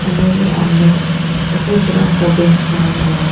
कमरे के अंदर सफेद रंग का बेंच लगाया गया--